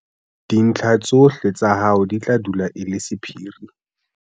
dintlha tsohle tsa hao di tla dula e le sephiri.